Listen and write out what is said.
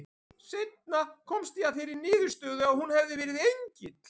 Seinna komst ég að þeirri niðurstöðu að hún hefði verið engill.